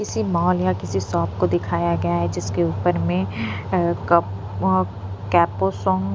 किसी मॉल या किसी शॉप को दिखाया गया है जिसके ऊपर में --